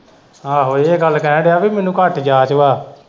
ਆਹੋ ਇਹ ਗੱਲ ਕਹਿਣ ਵੀ ਮੈਨੂੰ ਘੱਟ ਜਾਂਚ ਵਾਂ।